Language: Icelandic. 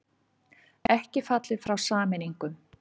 Ekki fallið frá sameiningum